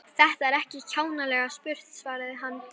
Þetta er ekki kjánalega spurt svaraði hann.